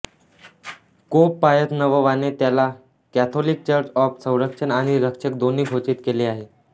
pope Pius नववाने त्याला Catholic church of संरक्षक आणि रक्षक दोन्ही घोषित केले आहे